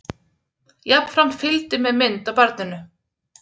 Jafnframt fylgdi með mynd af barninu